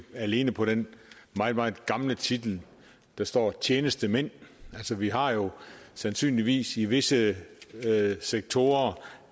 alene på den meget meget gamle titel der står tjenestemænd altså vi har jo sandsynligvis i visse sektorer